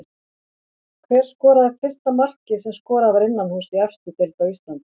Hver skoraði fyrsta markið sem skorað var innanhúss í efstu deild á Íslandi?